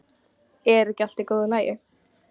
Er ekki allt í góðu lagi?